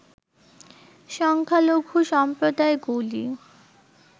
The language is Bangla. সংখ্যালঘু সম্প্রদায়গুলি